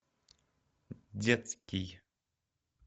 детский